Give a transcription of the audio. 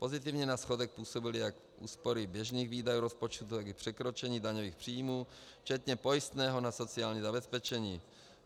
Pozitivně na schodek působily jak úspory běžných výdajů rozpočtu, tak i překročení daňových příjmů včetně pojistného na sociální zabezpečení.